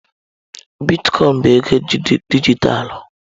Bitkọin bụ ego dijitalụ.